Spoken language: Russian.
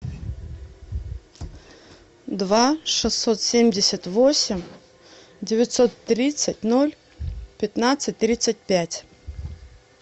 два шестьсот семьдесят восемь девятьсот тридцать ноль пятнадцать тридцать пять